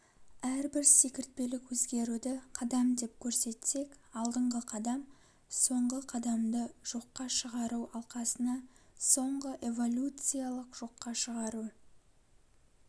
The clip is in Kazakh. әрбір секіртпелік өзгеруді қадам деп көрсетсек алдыңғы қадам соңғы қадамды жоққа шығару алқасына соңғы эволюциялық жоққа шығару